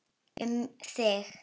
Um þig.